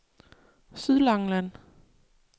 Sydlangeland